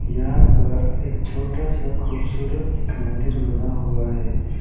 यहां पर एक छोटा सा खूबसूरत मंदिर बना हुआ है।